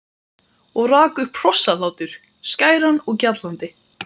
Og rak upp hrossahlátur, skæran og gjallandi.